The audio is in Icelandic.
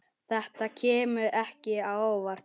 Þetta kemur ekki á óvart.